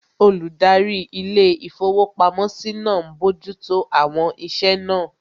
Olùdarí ilé-ìfowópamọ́sí náà n bojú tó àwọn iṣẹ́ náà